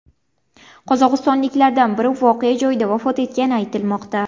Qozog‘istonliklardan biri voqea joyida vafot etgani aytilmoqda.